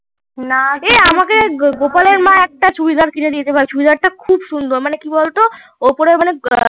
এই আমাকে গোপালের মা একটাও চুড়িদার কিনে মানে খুব সুন্দর ওপরে মানে কি বল তো